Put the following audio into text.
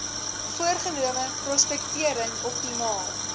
voorgenome prospektering optimaal